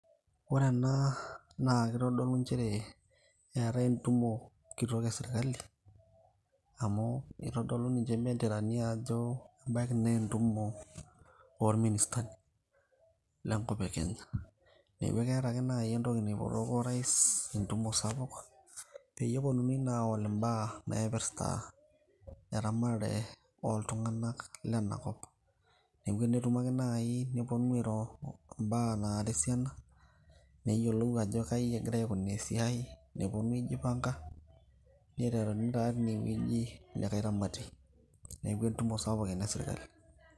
ore ena naa kitodolu nchere eetae entumo kitok esirkali amu itodolu ninche imbenderani ajo ebaiki naa entumo orministani lenkop e kenya neeku ekeeta ake najio entoki naipotoko orais entumo sapuk peyie eponunui naa awol imbaa naipirta eramatare oltung'anak lenakop neeku enetumo ake naaji neponu airo imbaa nara esiana neyiolou ajo kaji egira aikunaa esiai neponu aijipanga niteruni taa tinewueji likae ramatie neeku entumo sapuk ena esirkali.